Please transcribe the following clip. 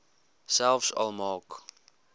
selfs al maak